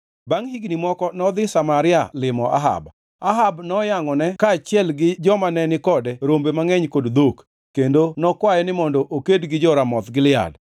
Bangʼ higni moko nodhi Samaria limo Ahab. Ahab noyangʼone kaachiel gi joma ne ni kode rombe mangʼeny kod dhok, kendo nokwaye ni mondo oked gi jo-Ramoth Gilead.